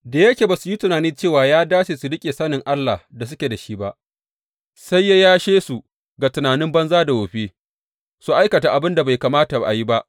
Da yake ba su yi tunani cewa ya dace su riƙe sanin Allah da suke da shi ba, sai ya yashe su ga tunanin banza da wofi, su aikata abin da bai kamata a yi ba.